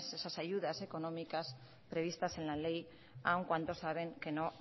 esas ayudas económicas previstas en la ley aún cuanto saben que no